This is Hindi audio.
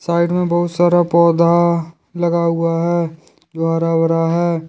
साइड मे बहुत सारा पौधा लगा हुआ है जो हरा भरा है।